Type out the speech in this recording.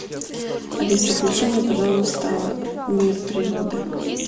алиса включи мне пожалуйста мир природы